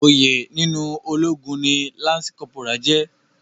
Oyè nínú ológun ni lance corporal jẹ́.